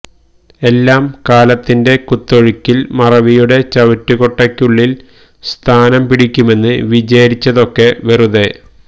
എല്ലാം കാലത്തിന്റെ കുത്തൊഴുക്കില് മറവിയുടെ ചവറ്റുകൊട്ടയ്കുള്ളില് സ്ഥാനം പിടിക്കുമെന്ന് വിചാരിച്ചതൊക്കെ വെറുതെ